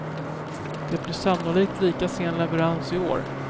Det blir sannolikt lika sen leverans i år.